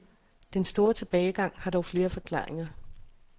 Den store tilbagegang har dog flere forklaringer.